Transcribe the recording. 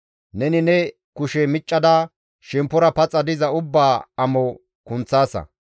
Neni ne kushe miccada shemppora paxa diza ubbaa amo kunththaasa.